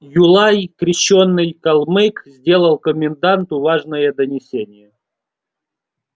юлай крещёный калмык сделал коменданту важное донесение